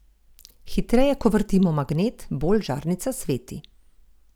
Hitreje, ko vrtimo magnet, bolj žarnica sveti.